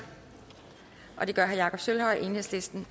det gør herre jakob sølvhøj enhedslisten